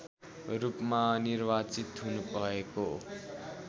रूपमा निर्वाचित हुनुभएको